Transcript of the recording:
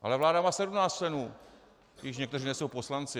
Ale vláda má 17 členů, i když někteří nejsou poslanci.